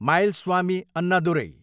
Mylswamy Annadurai